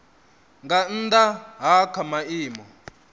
nga nnda ha kha maimo